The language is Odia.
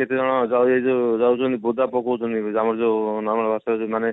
କେତେଜଣ ସେ ଯୋଉ ଯାଉଛନ୍ତି ବୋଦା ପକୋଉ ଛନ୍ତି ଆମର ଯୋଉ ସେ ମାନେ